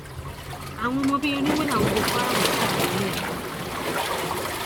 àwọn ọmọ bíi irínwó làwọn boko haram yìí sì kó lọ lẹẹkan